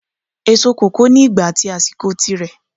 Èso kòkó ni ìgbà at àsìkò tí rẹ